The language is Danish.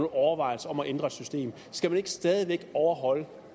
overvejelser om at ændre systemet skal man ikke stadig væk overholde